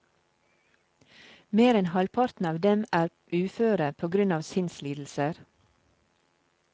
Mer enn halvparten av dem er uføre på grunn av sinnslidelser.